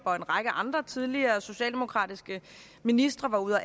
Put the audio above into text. og en række andre tidligere socialdemokratiske ministre var ude at